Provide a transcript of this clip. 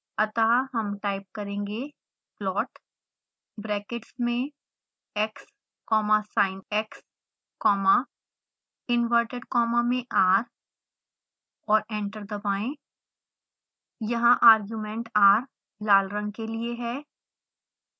अतः हम टाइप करेंगे plot ब्रैकेट्स में x comma sinx comma inverted comma में r और एंटर दबाएं यहाँ argument r लाल रंग के लिए है